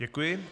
Děkuji.